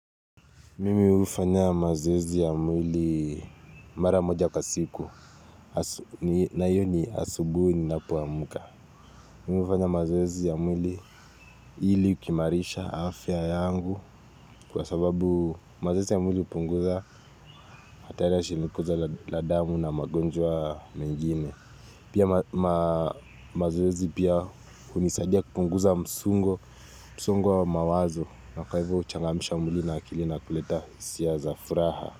Mimi hufanya mazoezi ya mwili mara moja kwa siku, na hiyo ni asubui ninapoamka. Mimi ufanya mazwezi ya mwili ili kuimarisha afya yangu kwa sababu mazoezi ya mwili upunguza hatari ya shinikoza la damu na magonjwa mengine. Pia mazoezi pia hunisadia kupunguza msungo, msongo wa mawazo na kwaivo huchangamisha mwili na akili na kuleta hisia za furaha.